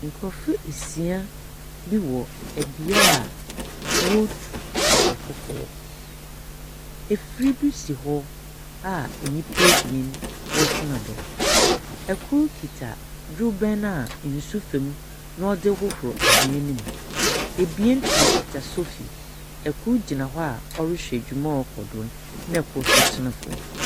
Nkorɔfo esia bi wɔ bea a wɔretu sikakɔkɔɔ. Efir bi hyɛ hɔ a nyimpa ebien wɔtsena do. Kor kita dorobɛn a nsu fir mu na wɔdze hohorow anwea no mu. Ebien wɔkita sofi. Kor gyina hɔ a ɔrehwɛ dwuma a ɔrekɔ do no, na kor nso tena fam.